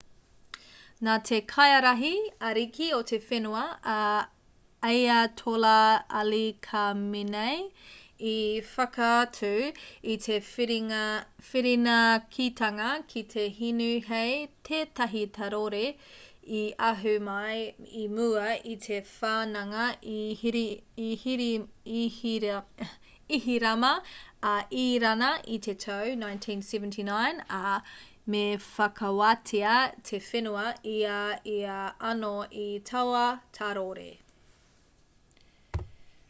nā te kaiārahi ariki o te whenua a ayatollah ali khamenei i whakaatu i te whirinakitanga ki te hinu hei tētahi tārore i ahu mai i mua i te whananga ihirama a irāna i te tau 1979 ā me whakawātea te whenua i a ia anō i taua tārore